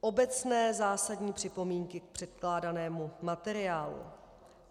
Obecné zásadní připomínky k předkládanému materiálu.